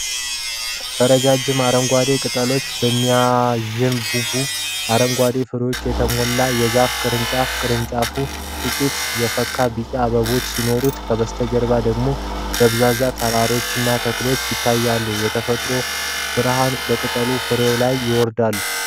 በረጃጅም አረንጓዴ ቅጠሎችና በሚያንዣብቡ አረንጓዴ ፍሬዎች የተሞላ የዛፍ ቅርንጫፍ ። ቅርንጫፉ ጥቂት የፈካ ቢጫ አበቦች ሲኖሩት፣ ከበስተጀርባው ደግሞ ደብዛዛ ተራሮችና ተክሎች ይታያሉ። የተፈጥሮው ብርሃን በቅጠሎችና ፍሬዎች ላይ ይወርዳል።